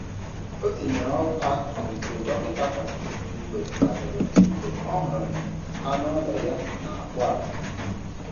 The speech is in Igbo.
Ọ tinyere ọgwụ akụkụ nke dọkịta kwadoro mgbe kwadoro mgbe ọ hụrụ na anụ ụlọ ya na-akpụ akpụ.